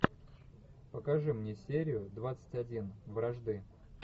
покажи мне серию двадцать один вражды